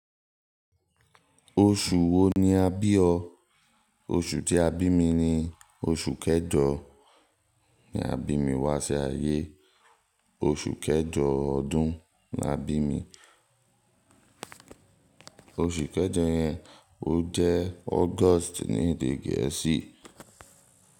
Oṣù wo ni a bí ọ? Oṣù tí a bí mi ni oṣù kẹẹ̀jọ, ni a bí mi wá sí ayé. Oṣù kẹẹ̀jọ ọdún ni a bí mi. Oṣù kẹẹ̀jọ yẹn o jẹ́ August ní èdè gẹ̀ẹ́sì.